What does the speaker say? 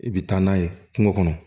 I bɛ taa n'a ye kungo kɔnɔ